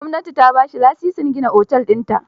Gwamnati ta ba shi lasisin gina otel dinta.